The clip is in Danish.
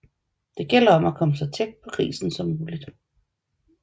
Det gælder om at komme så tæt på grisen som muligt